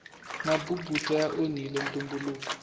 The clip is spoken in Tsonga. mabubutsa ya onhile ntumbuluko